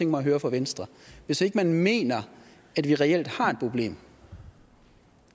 mig at høre fra venstre hvis ikke man mener at vi reelt har et problem